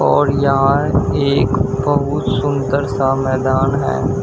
और यहां एक बहुत सुंदर सा मैदान है।